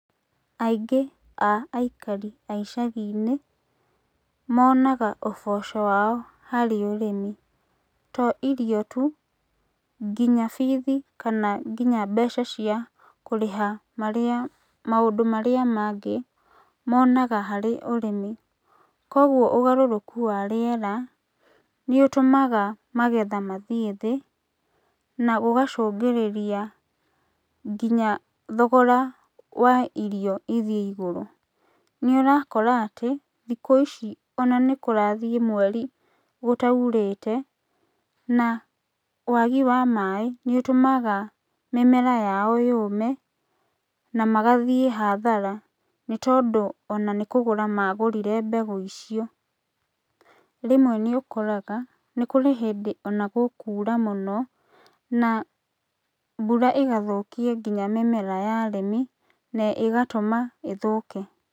Aingĩ a aikari a icagi-inĩ monaga ũboco wao harĩ ũrĩmi. To irio tu, kinya bithi kana nginya mbeca cia kũrĩha marĩ maũndũ marĩa mangĩ, monaga harĩ ũrĩmi. Koguo ũgarũrũku wa rĩera nĩ ũtũmaga magetha mathiĩ thĩ, na ũgacũngĩrĩria nginya thogora wa irio ithiĩ igũrũ. Nĩ ũrakora atĩ, thikũ ici ona nĩ kũrathiĩ mweri gũtaurĩte, na wagi wa maĩ nĩ ũtũmaga mĩmera yao yũme na magathiĩ hathara, nĩ tondũ ona nĩ kũgũra magũrire mbegũ ico. Rĩmwe nĩ ũkoraga nĩ kũrĩ hĩndĩ ona gũkura mũno na mbura ĩgathũkia kinya mĩmera ya arĩmi na ĩgatũma ĩthũke.